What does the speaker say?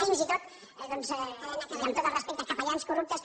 fins i tot doncs i amb tot el respecte capellans corruptes